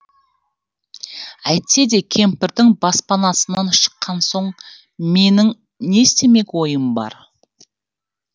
әйтсе де кемпірдің баспанасынан шыққан соң менің не істемек ойым бар